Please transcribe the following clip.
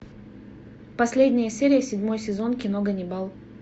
последняя серия седьмой сезон кино ганнибал